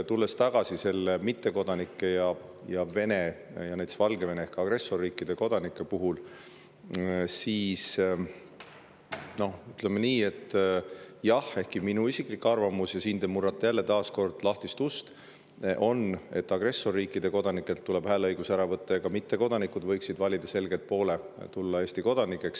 Tulles tagasi mittekodanike ning Vene ja Valgevene ehk agressorriikide kodanike teema juurde, siis jah, minu isiklik arvamus on – te murrate taas kord lahtisest uksest sisse –, et agressorriikide kodanikelt tuleb hääleõigus ära võtta ning ka mittekodanikud võiksid selgelt valida poole ja saada Eesti kodanikeks.